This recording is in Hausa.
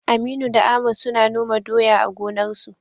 Aminu da Ahmad suna noma doya a gonarsu.